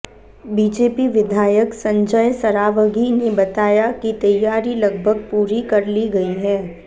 BJP विधायक संजय सरावगी ने बताया कि तैयारी लगभग पूरी कर ली गई है